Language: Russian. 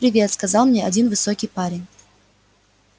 привет сказал мне один высокий парень